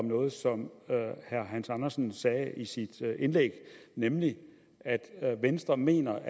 noget som herre hans andersen sagde i sit indlæg nemlig at venstre mener